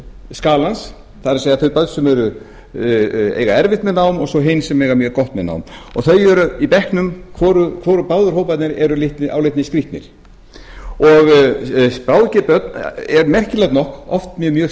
skalans það er þau börn sem eiga erfitt með nám og svo hin sem eiga mjög gott með nám og þau eru í bekknum báðir hóparnir eru álitnir skrýtnir bráðger börn eru merkilegt nokk oft með mjög